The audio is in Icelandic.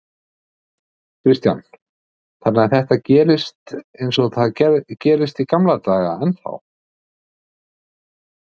Kristján: Þannig að þetta gerist eins og það gerist í gamla daga ennþá?